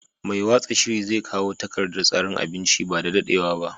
Mai watsa shiri zai kawo takardar tsarin abincin ba da daɗewa ba.